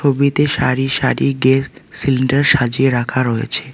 ছবিতে সারি সারি গেস সিলিন্ডার সাজিয়ে রাখা রয়েছে।